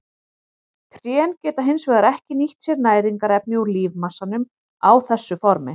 Trén geta hins vegar ekki nýtt sér næringarefni úr lífmassanum á þessu formi.